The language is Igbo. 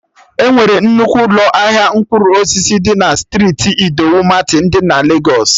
Enwere nnukwu ụlọ ahịa mkpụrụ osisi dị na striiti Idowu Martin dị na Legos